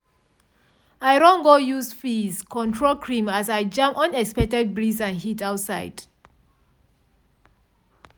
i run go use frizz-control cream as i jam unexpected breeze and heat outside.